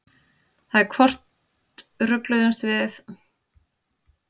Það er hvort rugluðumst við Íslendingar eða Danir á merkingu eða notkun þessara orða.